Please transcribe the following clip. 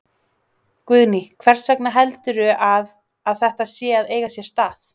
Guðný: Hvers vegna heldurðu að, að þetta sé að eiga sér stað?